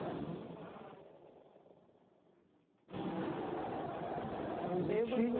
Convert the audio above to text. Aí... Eu não tive